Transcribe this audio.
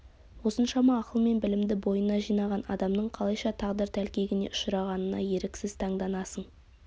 осыншама ақыл мен білімді бойына жинаған адамның қалайша тағдыр тәлкегіне ұшырағанына еріксіз таңданасың